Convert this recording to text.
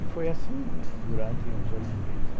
E foi assim durante uns oito meses.